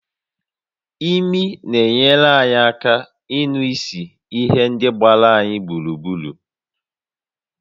Imi na-enyere anyị aka ịnụ ísì ihe ndị gbara anyị gburugburu